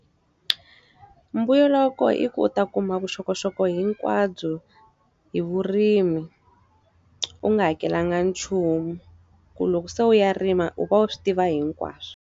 Mbuyelo wa koho i ku u ta kuma vuxokoxoko hinkwabyo hi vurimi, u nga hakelanga nchumu. Ku loko se u ya rima u va u swi tiva hinkwaswo.